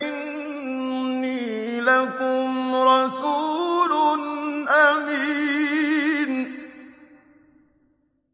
إِنِّي لَكُمْ رَسُولٌ أَمِينٌ